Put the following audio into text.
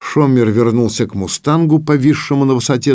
шомер вернулся к мустангу повисшем на высоте